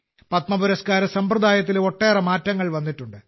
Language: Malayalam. പത്മപുരസ്കാര സമ്പ്രദായത്തിലും ഒട്ടേറെ മാറ്റങ്ങൾ വന്നിട്ടുണ്ട്